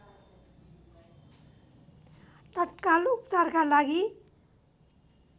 तत्काल उपचारका लागि